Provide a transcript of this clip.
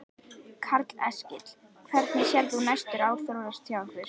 Karl Eskil: Hvernig sérð þú næstu ár þróast hjá ykkur?